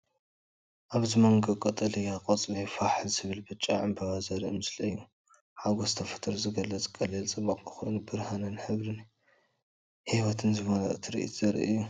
እዚ ኣብ መንጎ ቀጠልያ ቆጽሊ ፋሕ ዝበለ ብጫ ዕምባባ ዘርኢ ምስሊ እዩ። ሓጎስ ተፈጥሮ ዝገልጽ ቀሊል ጽባቐ ኮይኑ፣ ብርሃንን ሕብርን ህይወትን ዝመልኦ ትርኢት ዘርኢ እዩ።